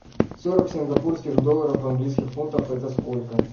сорок сингапурских долларов в английских фунтов это сколько